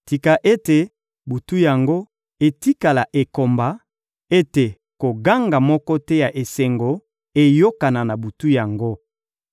Tika ete butu yango etikala ekomba, ete koganga moko te ya esengo eyokana na butu yango!